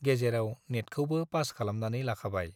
गेजेराव नेटखौबो पास खालामनानै लाखाबाय।